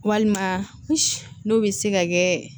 Walima n'o bɛ se ka kɛ